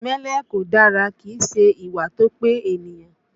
Ìmẹ́lẹ́ kò dára, kìí ṣe ìwà tó pé ènìyàn